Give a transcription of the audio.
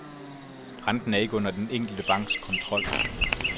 Renten er ikke under den enkelte banks kontrol.